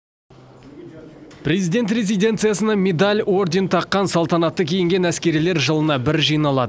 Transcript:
президент резиденциясына медаль орден таққан салтанатты киінген әскерилер жылына бір жиналады